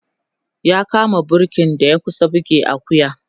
ya kama burki da ya kusa buge Akuya